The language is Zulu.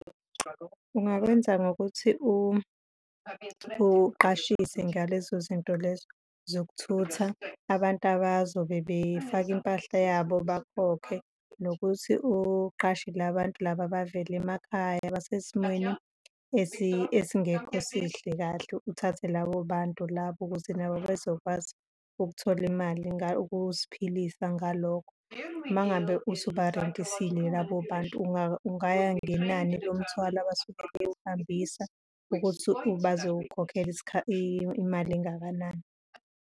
Ungakwenza ngokuthi uqashise ngalezo zinto lezo zokuthutha abantu abazobe befaka impahla yabo bakhokhe, nokuthi uqashe labantu laba abavela emakhaya abasesimweni esingekho sihle kahle, uthathe labo bantu labo, ukuze nabo bezokwazi ukuthola imali ukuziphilisa ngalokho. Uma ngabe usuba-rent-isile labo bantu, ungaya ngenani lomthwalo abasuke bewuhambisa ukuthi bazokhokhela imali engakanani.